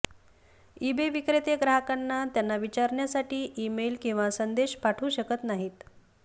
eBay विक्रेते ग्राहकांना त्यांना विचारण्यासाठी ईमेल किंवा संदेश पाठवू शकत नाहीत